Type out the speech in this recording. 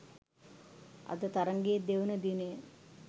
අද තරඟයේ දෙවන දිනයයි